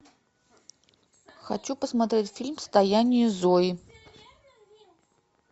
хочу посмотреть фильм стояние зои